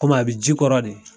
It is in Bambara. Kɔmi a bɛ ji kɔrɔ de.